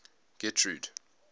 getrude